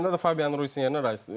Səndə də Fabian Ruiz yerinə Rice.